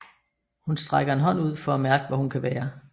Hun strækker en hånd ud for at mærke hvor hun kan være